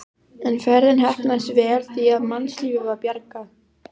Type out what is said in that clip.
En ferðin heppnaðist vel því að mannslífi var bjargað.